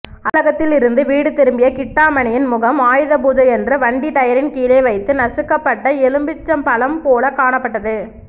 அலுவலகத்திலிருந்து வீடு திரும்பிய கிட்டாமணியின் முகம் ஆயுதபூஜையன்று வண்டி டயரின் கீழே வைத்து நசுக்கப் பட்ட எலுமிச்சம்பழம் போலக் காணப்பட்டது